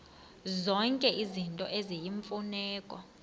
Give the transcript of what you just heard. zonke izinto eziyimfuneko